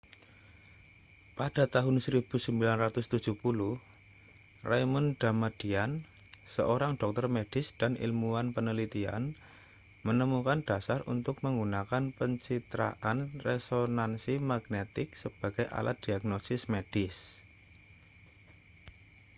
pada tahun 1970 raymond damadian seorang dokter medis dan ilmuwan penelitian menemukan dasar untuk menggunakan pencitraan resonansi magnetik sebagai alat diagnosis medis